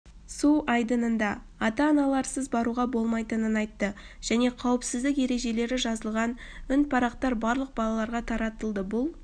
су айдынына ата-аналарынсыз баруға болмайтынын айтты және қауіпсіздік ережелері жазылған үнпарақтар барлық балаларға таратылды бұл